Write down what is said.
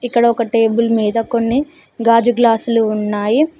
ఇక్కడ ఒక టేబుల్ మీద కొన్ని గాజు గ్లాసులు ఉన్నాయి.